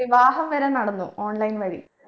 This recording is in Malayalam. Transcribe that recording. വിവാഹം വരെ നടന്നു online വഴി